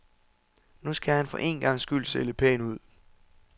Nu skal han for en gangs skyld se lidt pæn ud.